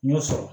N y'o sɔrɔ